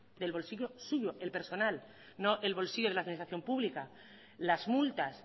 del bolsillo suyo el personal no el bolsillo de la administración pública las multas